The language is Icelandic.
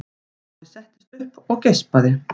Afi settist upp og geispaði.